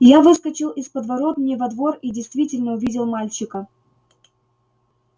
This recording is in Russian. я выскочил из подворотни во двор и действительно увидел мальчика